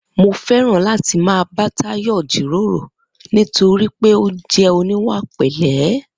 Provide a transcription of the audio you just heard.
Mo fé̩ràn láti máa bá Táyò̩ jíròrò nítorí pé ó jé̩ oníwà pè̩lé̩